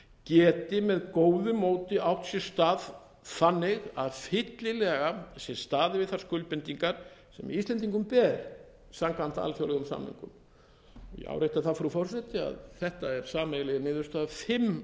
geti með góðu móti átt sér stað þannig að fyllilega sé staðið við þær skuldbindingar sem íslendingum ber samkvæmt alþjóðlegum samningum ég árétta það frú forseti að þetta er sameiginleg niðurstaða fimm